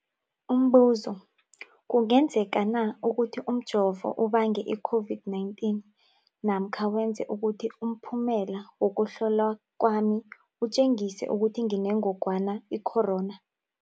Umbuzo, kungenzekana ukuthi umjovo ubange i-COVID-19 namkha wenze ukuthi umphumela wokuhlolwa kwami utjengise ukuthi nginengogwana i-corona?